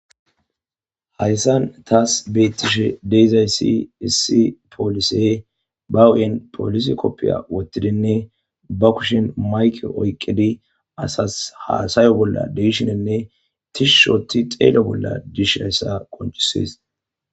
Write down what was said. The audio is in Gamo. hayssan taas bettishe deizaysi issi poolise ba wuen polis koppiya wottidinne ba kushin mayke oyqqidi asas haasayo bolla deishinenne tishushoti xeelo bolla dishayssa qonchisies